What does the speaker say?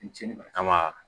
kama